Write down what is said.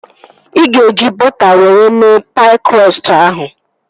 Ị ga-eji bọta were mee paị krọstụ ahụ?